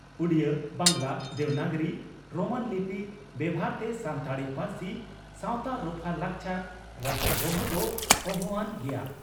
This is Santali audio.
ᱩᱰᱤᱭᱟᱹ, ᱵᱟᱝᱜᱽᱞᱟ, ᱫᱮᱵᱽᱱᱟᱜᱨᱤ, ᱨᱳᱢᱟᱱ ᱞᱤᱯᱤ ᱵᱮᱵᱷᱟᱨᱛᱮ ᱥᱟᱱᱛᱟᱲᱤ ᱯᱟᱹᱨᱥᱤ, ᱥᱟᱣᱛᱟ ᱨᱚᱯᱷᱟ, ᱞᱟᱠᱪᱟᱨ ᱨᱟᱠᱷᱟ ᱫᱚᱦᱚ ᱫᱚ ᱚᱦᱚᱼᱟᱱ ᱜᱮᱭᱟ ᱾